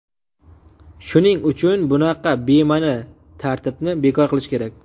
Shuning uchun bunaqa bema’ni tartibni bekor qilish kerak.